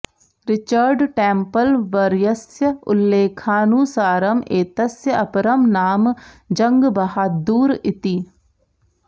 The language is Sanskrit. रिचर्ड् टेम्पल् वर्यस्य उल्लेखानुसारम् एतस्य अपरं नाम जङ्गबहाद्दूर् इति